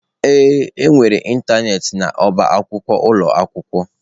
Ee, enwere ịntanetị n'ọba akwụkwọ ụlọ akwụkwọ.